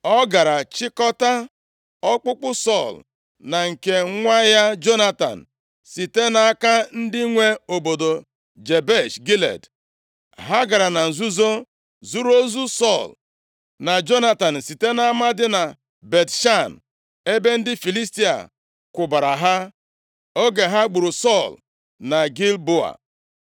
ọ gara chịkọtaa ọkpụkpụ Sọl na nke nwa ya Jonatan site nʼaka ndị nwe obodo Jebesh Gilead. Ha gara na nzuzo zuru ozu Sọl na Jonatan site nʼama dị na Bet-Shan, ebe ndị Filistia kwụbara ha, oge ha gburu Sọl na Gilboa.